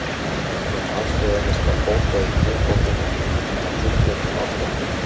Um aðstoðina skal bóka í kjörbókina, að tilgreindum ástæðum.